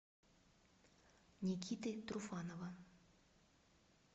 никиты труфанова